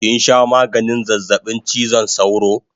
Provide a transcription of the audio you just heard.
Kinsha maganin zazzabin chizon sauro?